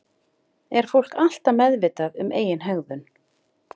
Er fólk alltaf meðvitað um eigin hegðun?